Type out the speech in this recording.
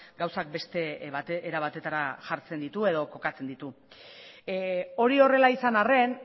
gauzak beste era batetara jartzen ditu edo kokatzen ditu hori horrela izan arren